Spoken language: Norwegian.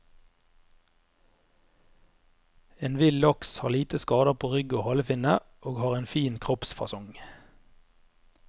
En vill laks har lite skader på rygg og halefinne og har en fin kroppsfasong.